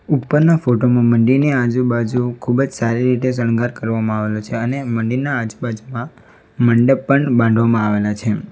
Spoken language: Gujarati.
ઉપરના ફોટો માં મંદિરની આજુબાજુ ખૂબ જ સારી રીતે શૃંગાર કરવામાં આવેલો છે અને મંદિર ના આજુબાજુમાં મંડપ પણ બાંધવામાં આવેલા છે.